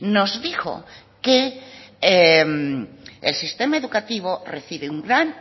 nos dijo que el sistema educativo recibe un gran